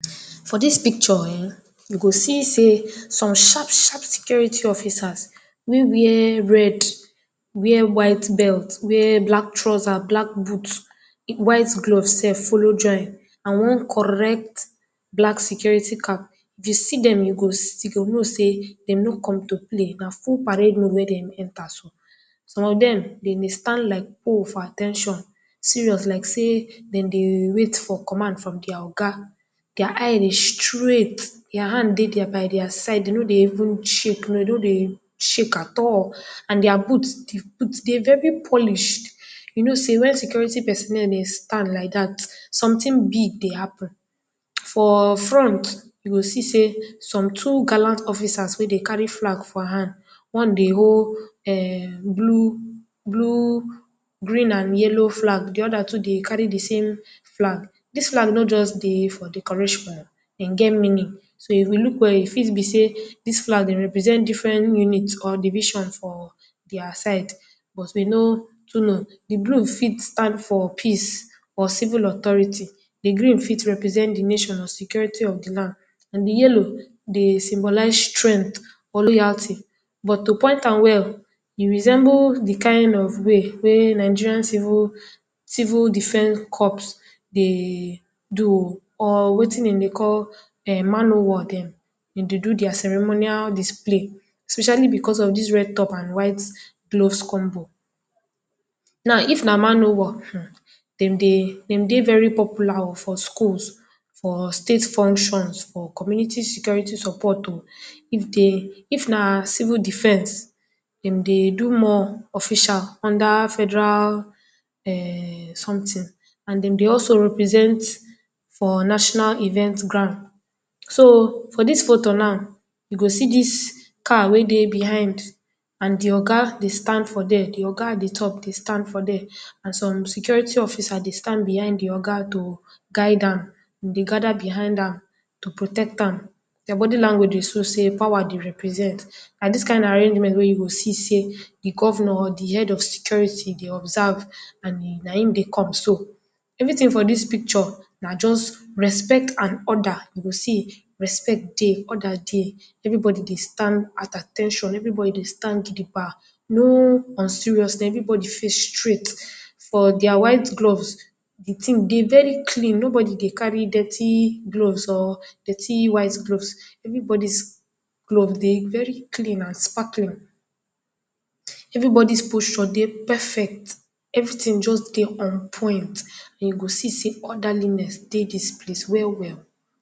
For dis picture[um]you go see sey some sharp-sharp security officers wey wear red, wear white belt, wear black trousers, black boots, white gloves sef follow join and one correct black security car. If you see dem you go know sey dem no come to play na full parde mode wey dem enter so. Some of dem, dem dey stand like O for at ten tion, serious like sey dem dey wait for command from their Oga. Their eye dey straight, their hand dey by their side, dem no dey even shake, dey no dey shake at all and their boots dey very polished. You know sey wen security personnel dey stand like dat, something big dey happen. For front you go see sey, some two gallant officers wey dey carry flag for hand. One bin hold erm blue, blue, green and yellow flag, de other too dey carry de same flag. Dis flag no just dey for decoration im get meaning. So, if you look well e fit be sey flag dey represent different units or division for their side. But we no too know, de blue fit stand for peace, or civil authority, de green fit represent de nation or security of de land. De yellow dey symbolize strength or loyalty. But to point am well, e resemble de kind of way wey Nigerian civil defense corps dey do o, or wetin dem dey call erm Man o war dem. Dem dey do their ceremonial display, especially because of dis red top and dis white gloves combo. Now if na man I was um, dem dey very popular for schools, for state functions, for community security support o. If dey, if na civil defense dem dey do more officials under Federal erm something. And dem dey also represent for National event ground. So, for dis photo now you go see dis car wey dey behind and de Oga dey stand for there, de Oga at de top dey stand for there and some security officers dey stand for behind de Oga to guide am, dem dey gather behind am to protect am. Their bodi language dey show sey pawa dey represent and dis kind arrangement wey you go see sey de Governor or de head of security dey observe and na im dey come so. Everything for dis picture, na just respect and order, you go see sey respect dey, order dey. Everybody dey stand at at ten tion, everybody dey stand gidigba. No unseriousness everybody face straight, for their white gloves de thing dey very clean nobody dey carry dirty gloves or dirty white gloves. Everybody’s gloves dey very clean and sparkly, everybody’s posture dey perfect, everything just dey on point and you go see sey orderliness dey dis place well-well.